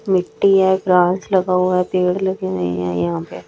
मिट्टी है गांछ लगा हुआ है पेड़ लगे हुए है यहां पे।